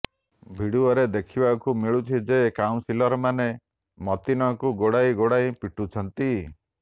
ଭିଡ଼ିଓରେ ଦେଖିବାକୁ ମିଳୁଛି ଯେ କାଉନସିଲରମାନେ ମତିନଙ୍କୁ ଗୋଡ଼ାଇ ଗୋଡ଼ାଇ ପିଟୁଛନ୍ତି